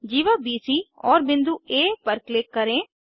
जीवा B C बिंदु आ पर क्लिक करें